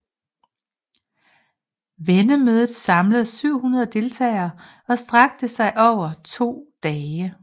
Vennemødet samlede 700 deltagere og strakte sig over to dage